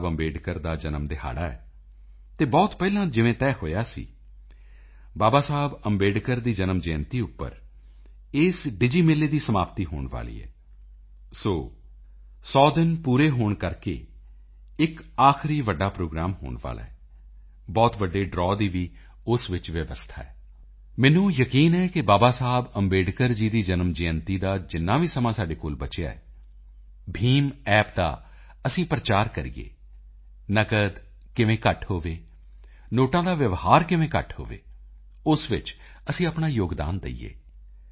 ਬਾਬਾ ਸਾਹਿਬ ਅੰਬੇਡਕਰ ਦਾ ਜਨਮ ਦਿਹਾੜਾ ਹੈ ਅਤੇ ਬਹੁਤ ਪਹਿਲਾਂ ਜਿਵੇਂ ਤੈਅ ਹੋਇਆ ਸੀ ਬਾਬਾ ਸਾਹਿਬ ਅੰਬੇਡਕਰ ਦੀ ਜਨਮ ਜਯੰਤੀ ਉੱਪਰ ਇਸ ਡਿਜੀ ਮੇਲੇ ਦੀ ਸਮਾਪਤੀ ਹੋਣ ਵਾਲੀ ਹੈ ਸੌ ਦਿਨ ਪੂਰੇ ਹੋਣ ਕਰਕੇ ਇਕ ਆਖਰੀ ਬਹੁਤ ਵੱਡੀ ਪ੍ਰੋਗਰਾਮ ਹੋਣ ਵਾਲਾ ਹੈ ਬਹੁਤ ਵੱਡੇ ਡਰਾਵ ਦੀ ਵੀ ਉਸ ਵਿੱਚ ਵਿਵਸਥਾ ਹੈ ਮੈਨੂੰ ਯਕੀਨ ਹੈ ਕਿ ਬਾਬਾ ਸਾਹਿਬ ਅੰਬੇਡਕਰ ਜੀ ਦੀ ਜਨਮ ਜਯੰਤੀ ਦਾ ਜਿੰਨਾ ਵੀ ਸਮਾਂ ਸਾਡੇ ਕੋਲ ਬਚਿਆ ਹੈ BHIMApp ਦਾ ਅਸੀਂ ਪ੍ਰਚਾਰ ਕਰੀਏ ਨਕਦ ਕਿਵੇਂ ਘੱਟ ਹੋਵੇ ਨੋਟਾਂ ਦਾ ਵਿਵਹਾਰ ਕਿਵੇਂ ਘੱਟ ਹੋਵੇ ਉਸ ਵਿੱਚ ਅਸੀਂ ਆਪਣਾ ਯੋਗਦਾਨ ਦੇਈਏ